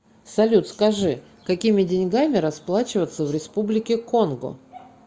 салют скажи какими деньгами расплачиваться в республике конго